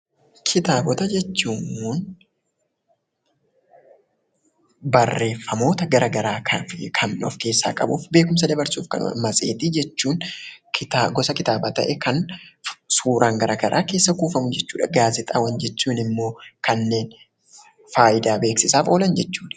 Kitaaba jechuun barreeffamoota garagaraa beekkumsa dabarsuu danda'an kan of keessatti qabatudha. Matseetii jechuun gosoota kitaabaa ta'ee kan kitaabni of keessatti qabatudha. Gaazexaawwan jechuun immoo kanneen beeksisaaf oolan jechuudha.